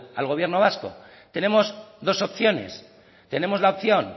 al gobierno vasco tenemos dos opciones tenemos la opción